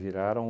Viraram...